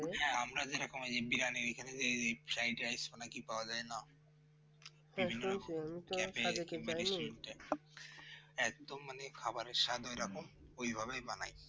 হ্যাঁ আমরা যেরকম বিরিয়ানি fried rice পাওয়া যায় না একদম মানে খাবারের স্বাদ এরকম ওই ভাবেই বানায়